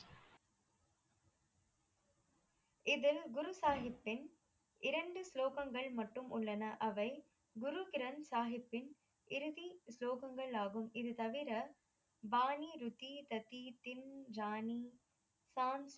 இதில் குருசஹிபின் இரண்டு ஸ்லோகங்கள் மட்டும் உள்ளன அவை குரு கிரந்த் சாஹிப்பின் இறுதி ஸ்லோகங்களாகும் இது தவிர வாணி ருதி ததி தின் ராணி சாங்